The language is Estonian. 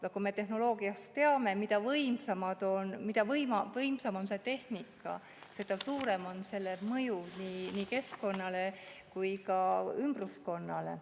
Nagu me tehnoloogia kohta teame: mida võimsam on tehnika, seda suurem on selle mõju nii keskkonnale kui ka ümbruskonnale.